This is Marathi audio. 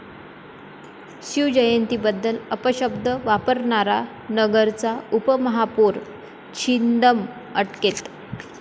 शिवजयंतीबद्दल अपशब्द वापरणारा नगरचा उपमहापौर छिंदम अटकेत